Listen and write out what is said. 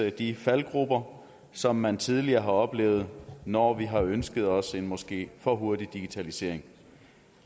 de faldgruber som man tidligere har oplevet når vi har ønsket os en måske for hurtig digitalisering